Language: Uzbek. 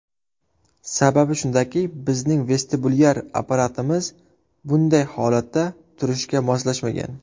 Sababi shundaki, bizning vestibulyar apparatimiz bunday holatda turishga moslashmagan.